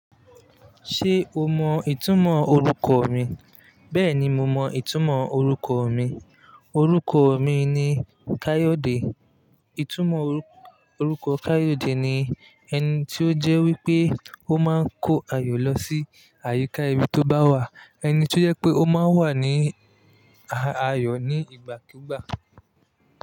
Ṣé o mọ ìtumọ̀ orúkọ mi? Bẹ́ẹ̀ni, mo mọ ìtumọ̀ orúkọ mi. Òrúkọ mi ni Káyòdé. Ìtumọ̀ orúkọ Káyòdé ni ẹni tí ó jẹ́ wí pé ó máa ń kó ayọ̀ lọ sí àyíká ibi tó bá wà. Ẹni tí ó jẹ́ pé ó máa ń wà ní ayọ̀ ní ìgbàkígbà.